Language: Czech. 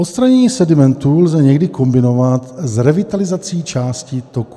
Odstranění sedimentů lze někdy kombinovat s revitalizací částí toků.